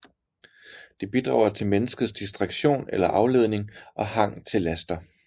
Det bidrager til menneskets distraktion eller afledning og hang til laster